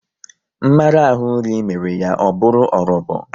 Mmarahu nri mere ya o bụru orobo